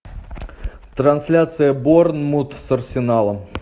трансляция борнмут с арсеналом